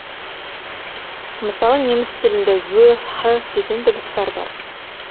мысалы неміс тілінде ө һ деген дыбыстар бар